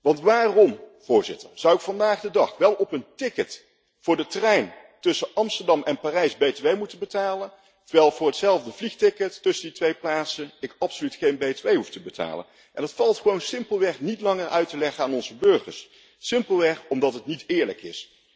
Want waarom, Voorzitter, zou ik vandaag de dag op een ticket voor de trein tussen Amsterdam en Parijs btw moeten betalen, terwijl ik voor hetzelfde vliegticket tussen die twee plaatsen absoluut geen btw hoeft te betalen? Dat valt gewoon niet langer uit te leggen aan onze burgers, simpelweg omdat het niet eerlijk is.